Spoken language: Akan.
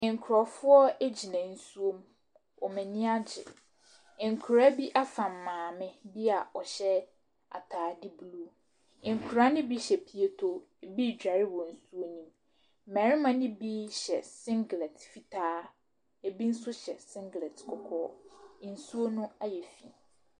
Nkurɔfoɔ gyina nsuom. Wɔn ani agye. Nkwadaa bi afam maame bi a ɔhyɛ atade blue. Nkwadaa no bi hyɛ pieto, ebi redware wɔ nsuo no mu. Mmarima no bi hyɛ singlet fitaa, ebi nso hyɛ singlet kɔkɔɔ. Nsuo no ayɛ fi.